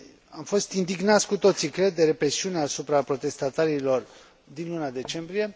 Am fost indignați cu toții, cred, de represiunea asupra protestatarilor din luna decembrie.